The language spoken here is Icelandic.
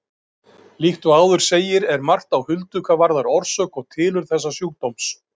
Líkt og áður segir er margt á huldu hvað varðar orsök og tilurð þessa sjúkdóms.